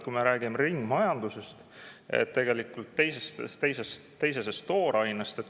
Me räägime ju ringmajandusest, teisesest toorainest.